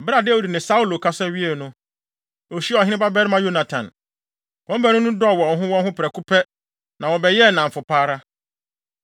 Bere a Dawid ne Saulo kasa wiei no, ohyiaa ɔhenebabarima Yonatan. Wɔn baanu no dɔɔ wɔn ho wɔn ho prɛko pɛ na wɔbɛyɛɛ nnamfo pa ara.